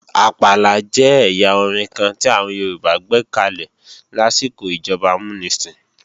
Àpàlà jẹ́ ẹ̀yà orin kan tí àwọn Yorùbá gbékalè lásìkò ìjọba amúnisìn